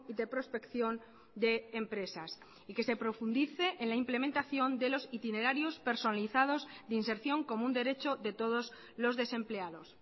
de prospección de empresas y que se profundice en la implementación de los itinerarios personalizados de inserción como un derecho de todos los desempleados